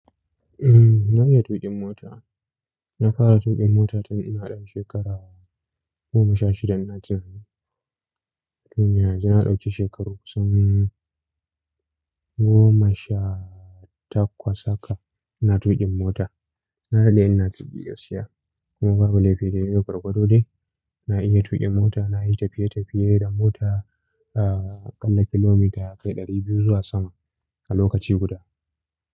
Umm, na iya tuƙin mota. Na fara tuƙin mota tun ina ɗan shekara goma sha shida ina tunanin. Tuniya, ji na ɗauki shekaru kusan goma sha takwas haka ina tuƙin mota. Na dade ina tuki gaskiya kuma babu laifi daidai gwargwado dai. Na iya tuƙin mota, na yi tafiye-tafiye da mota a ƙalla kilomita yakai ɗari biyu zuwa sama a lokaci guda.